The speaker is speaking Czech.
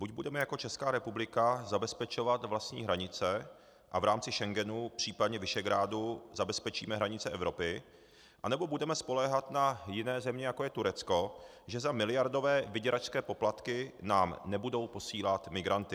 Buď budeme jako Česká republika zabezpečovat vlastní hranice a v rámci Schengenu, případně Visegrádu, zabezpečíme hranice Evropy, anebo budeme spoléhat na jiné země, jako je Turecko, že za miliardové vyděračské poplatky nám nebudou posílat migranty.